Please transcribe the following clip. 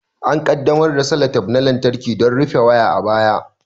An ƙaddamar da seletep na lantarki don rufe waya a baya.